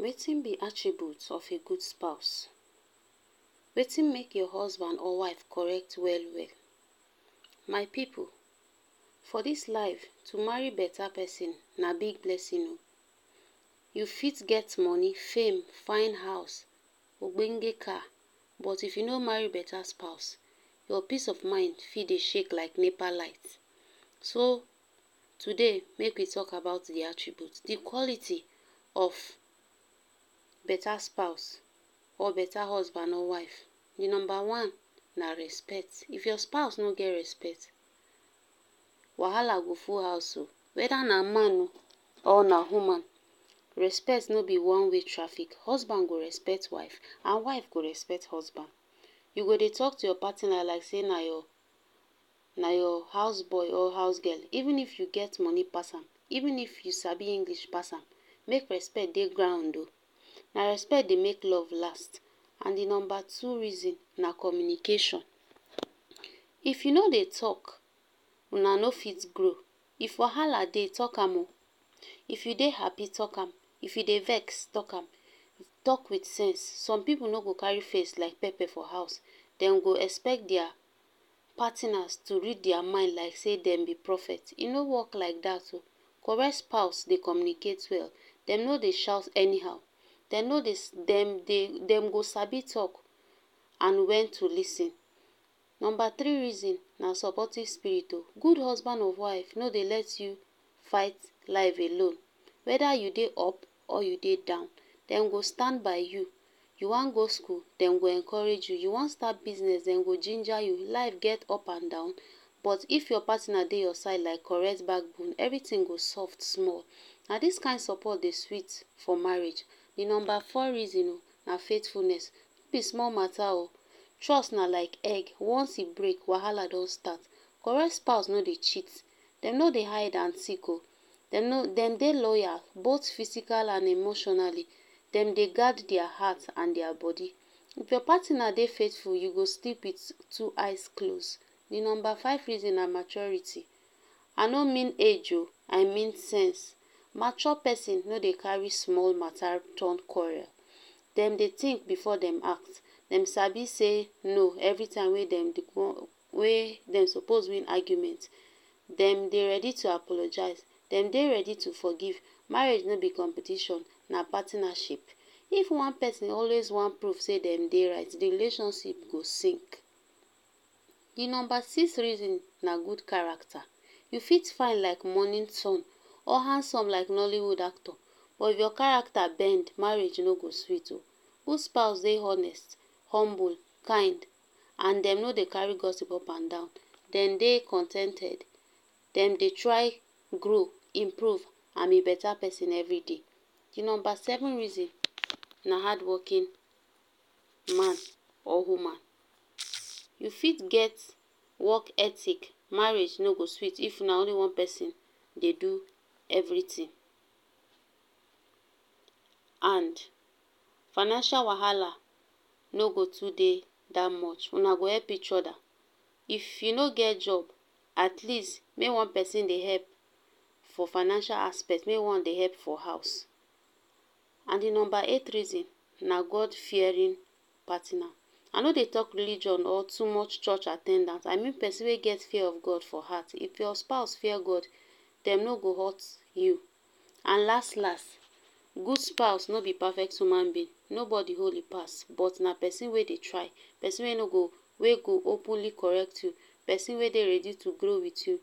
Wetin b attributes of a good spouse Wetin make your husband or wife correct well well, my pipu for dis life to marry beta persin na big blessing um u fit get money fame, fine house ogbenge car but if u no marry beta spouse your peace of mind fit Dey shake like nepa light, so today make we talk about d attributes d qualiy of beta spouse or beta husband or wife, d numba one na respect, if your spouse no get respect wahala go full house um weda na man or na woman respect no b one way traffic, husband go respect wife and wife go respect husband, u go Dey talk to your partner like sey na your na your houseboy or house girl, even if you get money pass am, even if you sabi English pass am, make respect Dey ground um na respect Dey make love last, and d number two reason na communication, If u no Dey talk, una no fit grow, if wahala dey talk am um if u Dey happy talk am, if u Dey vex talk am talk with sense some pipu no go carry face like pepper for house, dem go expect their partinas to read their mind like say dem b prophet, e no work like dat um correct spouse Dey communicate well, dem no Dey shout anyhow, dem no dey dem dey dem go sabi talk and wen to lis ten, number three reason na supportive spirit o, good husband or wife no Dey let you fight life alone, weda u Dey up or u Dey down, dem go stand by you, you wan go school dem go encourage you, you wan start business dem go ginger u, life get up and down, but if your partner Dey your side like correct back bone, everything go soft small, na dis kind support Dey sweet for marriage, d numba four reason na faithfulness, no b small mata o, trust na like egg once e break wahala don start, correct spouse no Dey cheat dem no Dey hide and seek um dem Dey loyal both physical and emotionally, dem Dey guard dia heart and dia body, if your partina Dey faithful you go sleep with two eyes close d number five reason na maturity, I no mean age um I mean sense, mature persin no Dey carry small mata turn quarrel, dem Dey think before dem act dem sabi sey no every time wey dem dey wan wey dem suppose win argument, dem Dey ready to apologize, dem Dey ready to forgive, marriage no b competition na partinaship, if one persin always wan prove say dem Dey right, d relationsip go sink d number six reason na good character, you fit fine like morning sun or handsome like nollywood actor, but if your character bend marriage no go sweet um good spouse Dey honest, humble, kind and dem no Dey carry gossip up and down, dem Dey con ten ted dem Dey try grow improve and be beta person everyday, di numba seven persin na hard working man or human, you fit get work ethic marriage no go sweet if na only one person Dey do everything and financial wahala no go too Dey dat much una go help each oda if u no get job atleast may one person Dey help for financial aspect, may one Dey help for house, and d number eight reason na God fearing partina, I no Dey talk religion or too much church at ten dant, I mean person wey get fear of god for heart, if your spouse fear god dem no go hurt you, and las las good spouse no be perfect human being, no body holy pass but na person wey Dey try peson no go peson wey go openly correct you person wey Dey ready to grow with you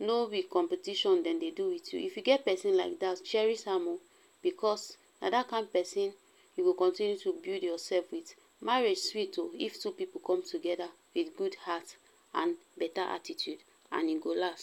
no be competition dem Dey do with you, if you get person like dat cheris am um because na that kind person u go continue to build your self with, marriage sweet um if two pipu come togeda with good heart and beta attitude and e go last.